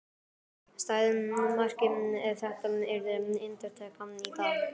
Stæði markið ef þetta yrði endurtekið í dag?